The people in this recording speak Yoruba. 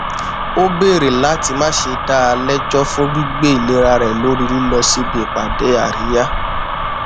ó bèrè láti má ṣe dá a lẹjọ fún gbígbé ìlera rẹ lórí lílọ síbi ìpàdé àríyá